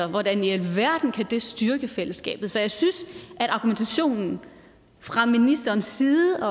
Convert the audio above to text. hvordan i alverden kan det styrke fællesskabet så jeg synes at argumentationen fra ministerens side